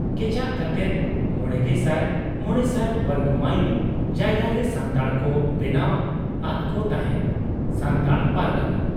ᱠᱮᱪᱟᱜ ᱠᱟᱛᱮᱫ ᱕᱕᱐᱐ ᱵᱚᱨᱜᱚ ᱢᱟᱭᱤᱞ ᱡᱟᱭᱜᱟᱨᱮ ᱥᱟᱱᱛᱟᱲ ᱠᱚ ᱵᱮᱱᱟᱣ ᱟᱫᱠᱚ ᱛᱟᱦᱮᱸᱫ ᱾ᱥᱟᱱᱛᱟᱲ ᱯᱟᱨᱜᱟᱱᱟ ᱾